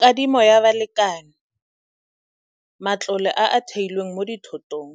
Kadimo ya balekane, matlole a a theilweng mo dithotong,